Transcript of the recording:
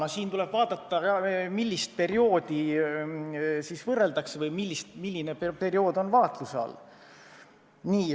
Aga siin on oluline, milliseid perioode võrreldakse, millised perioodid on vaatluse all.